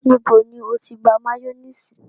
Níbò ni o tì gbà mayonnaise?